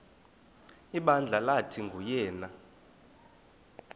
ibandla lathi nguyena